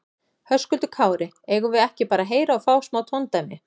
Höskuldur Kári: Eigum við ekki bara að heyra og fá smá tóndæmi?